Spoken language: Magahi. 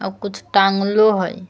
आउ कुछ टांगलो हई।